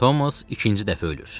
Thomas ikinci dəfə ölür.